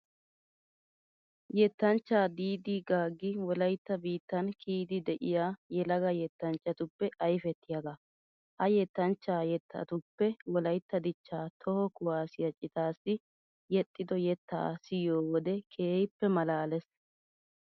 Yettanchchaa diidii gaaggi wolaytta biittan kiyiiddi de'iya yelaga yattanchchatuppe ayfettiyagaa. Ha yettanchchaa yettatuppe wolaytta dichchaa toho kuwaasiya citaassi yexxido yettaa siyiyo wode keehippe maalaalees.